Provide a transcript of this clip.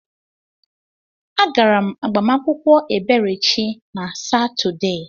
Agara m agbamakwụkwọ Eberechi na Satọde.